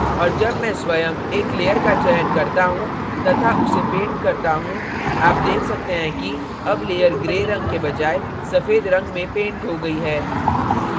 अब जब मैं स्वयं एक layer का चयन करता हूँ तथा उसे paint करता हूँ आप देख सकते हैं कि अब layer gray रंग के बजाय सफ़ेद रंग में paint हो गई है